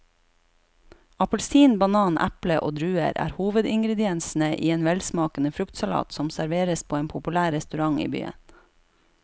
Appelsin, banan, eple og druer er hovedingredienser i en velsmakende fruktsalat som serveres på en populær restaurant i byen.